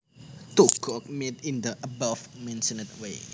To cook meat in the above mentioned way